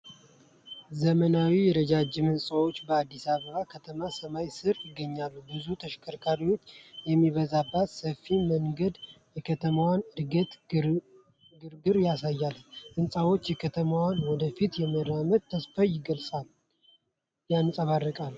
ዘመናዊ የረጃጅም ሕንፃዎች በአዲስ አበባ ከተማ ሰማይ ስር ይገኛሉ። ብዙ ተሽከርካሪዎች የሚበዛበት ሰፊ መንገድ የከተማዋን እድገትና ግርግር ያሳያል። ሕንፃዎቹ የከተማዋን ወደፊት የመራመድ ተስፋ ያንፀባርቃሉ።